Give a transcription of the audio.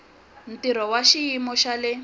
ntirho wa xiyimo xa le